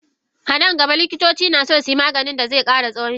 A nan gaba Likitoci naso suyi Maganin dazesa kara tsawan shekaru.